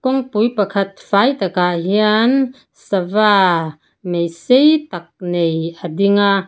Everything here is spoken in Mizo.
kawngpui pakhat fai takah hian sava mei sei tak nei a ding a.